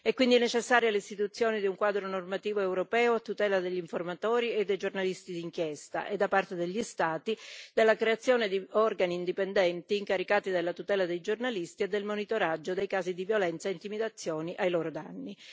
È quindi necessaria l'istituzione di un quadro normativo europeo a tutela degli informatori e dei giornalisti di inchiesta e, da parte degli Stati, la creazione di organi indipendenti incaricati della tutela dei giornalisti e del monitoraggio dei casi di violenza e intimidazione ai loro danni.